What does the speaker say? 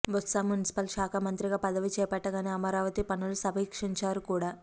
Botsa municipal శాఖా మంత్రిగా పదవి చేపట్టగానే అమరావతి పనులను సమీక్షించారు కూడా